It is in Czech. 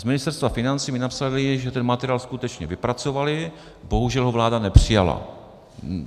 Z Ministerstva financí mi napsali, že ten materiál skutečně vypracovali, bohužel ho vláda nepřijala.